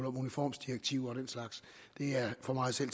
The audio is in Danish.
om uniformsdirektiver og den slags er for meget selv